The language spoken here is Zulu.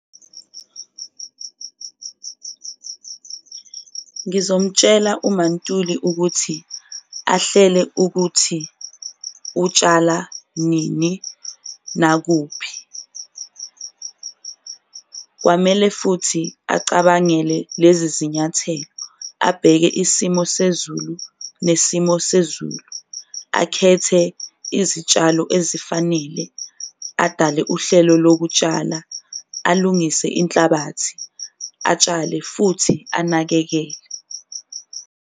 Ngizomtshela uMaNtuli ukuthi ahlele ukuthi utshala nini nakuphi, kwamele futhi acabangele lezi zinyathelo, abheke isimo sezulu nesimo sezulu, akhethe izitshalo ezifanele adale uhlelo lokutshala, alungise inhlabathi, atshale futhi anakekele.